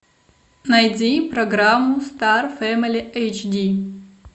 найди программу стар фэмили эйч ди